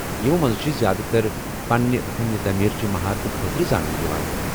یمو منٛز چھِ زیادٕ تر پننہِ فن تعمیرچہِ مہارتہٕ خاطرٕ زاننہٕ یوان ۔